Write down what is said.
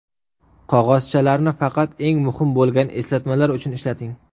Qog‘ozchalarni faqat eng muhim bo‘lgan eslatmalar uchun ishlating.